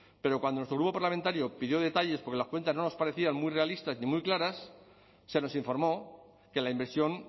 pero cuando nuestro grupo parlamentario pidió detalles porque las cuentas no nos parecían muy realistas ni muy claras se nos informó que la inversión